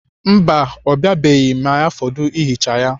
Mba, ọ biabeghị ma ya fọdụ ihicha ya.